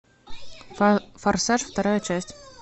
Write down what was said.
форсаж вторая часть